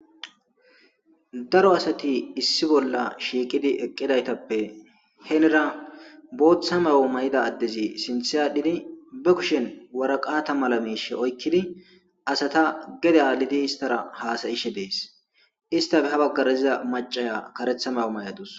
daro asati issi bolla shiiqidi eqqidaytappe henera booththa mawo may7ida addezi sinthe adhidi ba kushen waraqata mala miishe oykkidi asata gede aalidi istara haasayishe dees istafe ha baggaraziza macaya karetha mawo may7adus